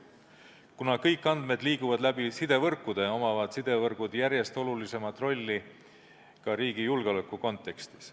Kuna kõik andmed liiguvad läbi sidevõrkude, omavad sidevõrgud järjest olulisemat rolli ka riigi julgeoleku kontekstis.